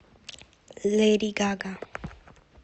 леди гага